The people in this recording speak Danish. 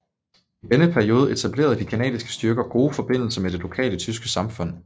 I denne periode etablerede de canadiske styrker gode forbindelser med det lokale tyske samfund